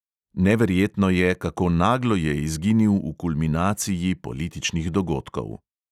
Neverjetno je, kako naglo je izginil v kulminaciji političnih dogodkov.